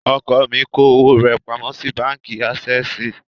Ọkọ mi kó owó rẹ̀ pamọ́ sí báǹkì ásẹ́ẹ̀sì.